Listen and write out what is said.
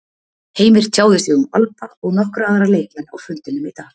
Heimir tjáði sig um Alba og nokkra aðra leikmenn á fundinum í dag.